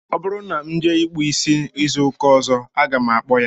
Ọ bụrụ na m jee ịkpụ isi izu ụka ọzọ, aga m akpọ ya